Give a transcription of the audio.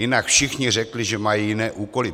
Jinak všichni řekli, že mají jiné úkoly.